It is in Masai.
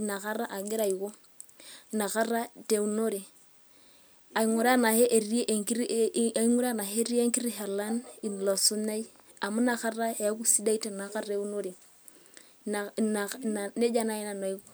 inkata agira aiko, inkata te eunore aaing'uraa enaa ketii enkiti shalan ilo sunyai amu nakata eeku sidai tinakata eunore, neija naai nanu aiko.